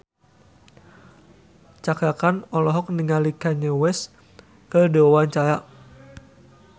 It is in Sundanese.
Cakra Khan olohok ningali Kanye West keur diwawancara